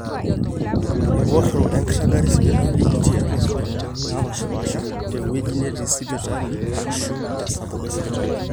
eworo enkiragata esipitali tiiatwa sipitalini naapaashipaasha, tewueji netii sipitali aashu tesapuko esipitali